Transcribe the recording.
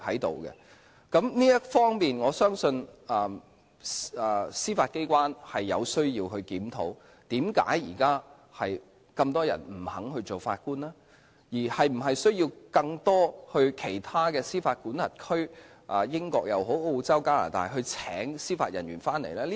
在這方面，我相信司法機關有需要檢討為何現在那麼多人不肯擔任法官，是否需要在其他司法管轄區，如英國、澳洲或加拿大聘請司法人員來港呢？